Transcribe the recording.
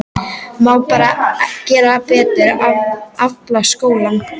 Má ekki bara gera betur, efla skólann?